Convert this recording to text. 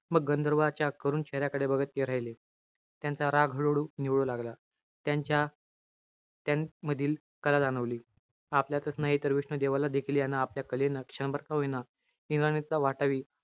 मग गंधर्वाच्या करुण चेहऱ्याकडे बघत ते राहिले. त्यांचा राग हळूहळू निवळू लागला. त्यांच्या त्यामधील कला जाणवली. आपल्यातच नाही तर विष्णू देवाला देखील, यानं आपल्या कलेनं क्षणभर का होईना, इंद्राणीचा वाटावी,